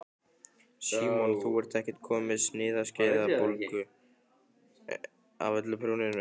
Símon: Þú ert ekkert komin með sinaskeiðabólgu af öllu prjóninu?